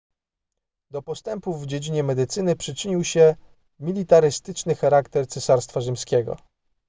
do postępów w dziedzinie medycyny przyczynił się militarystyczny charakter cesarstwa rzymskiego